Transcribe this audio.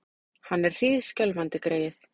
Hann er hríðskjálfandi, greyið!